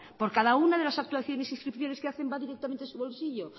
por cada una de las actuaciones e inscripciones que hacen va directamente a su bolsillo